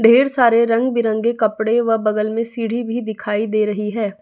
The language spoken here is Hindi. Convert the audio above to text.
ढेर सारे रंग-बिरंगे कपड़े व बगल में सीढ़ी भी दिखाई दे रही है।